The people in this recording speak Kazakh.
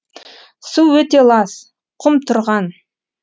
су өте лас құм тұрған